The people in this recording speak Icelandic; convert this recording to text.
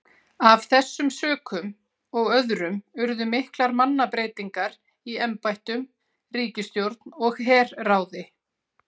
Af þessum sökum og öðrum urðu miklar mannabreytingar í embættum, ríkisstjórn og herráði.